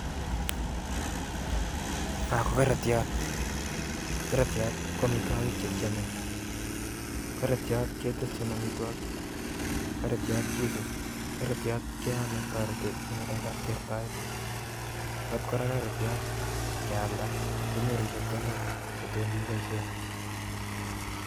Non ko korotiot, korotiot ko amitwogiik chekiome, korotiot keteshin amitwogiik, korotiot kesus, korotiot keome, korotiot kora ingealda kenyoru chepkondok chekibooshien